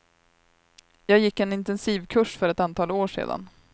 Jag gick en intensivkurs för ett antal år sedan.